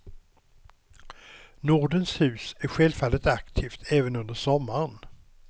Nordens hus är självfallet aktivt även under sommaren.